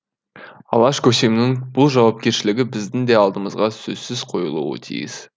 алаш көсемінің бұл жауапкершілігі біздің де алдымызға сөзсіз қойылуы тиіс